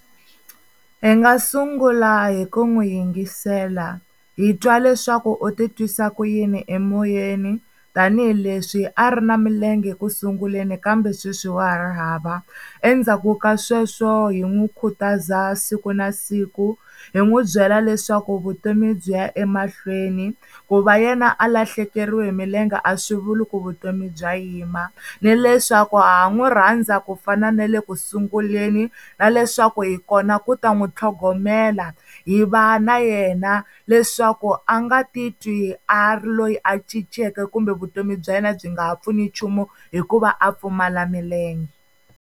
Hi nga sungula hi ku n'wi yingisela hi twa leswaku u ti twisa ku yini emoyeni, tanihileswi a ri na milenge ku sunguleni kambe sweswi wa ha ri hava. Endzhaku ka sweswo hi n'wi khutaza siku na siku hi n'wi byela leswaku vutomi byi ya emahlweni. Ku va yena a lahlekeriwile hi milenge a swi vuli ku vutomi bya yima ni leswaku ha n'wi rhandza ku fana na le sunguleni. Na leswaku hi kona ku ta n'wi tlhogomela hi va na yena leswaku a nga titwi a ri loyi a cinceke kumbe vutomi bya yena byi nga ha pfuni nchumu hikuva a pfumala milenge.